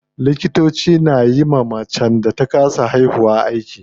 Likitoci na yiwa macen da ta kasa haihuwa aiki.